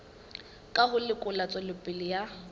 ka ho lekola tswelopele ya